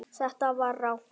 Þetta var rangt.